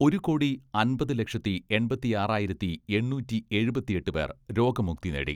ഒരു കോടി അമ്പത് ലക്ഷത്തി എണ്പത്തിയാറായിരത്തി എണ്ണൂറ്റി എഴുപത്തിയെട്ട് പേർ രോഗമുക്തി നേടി.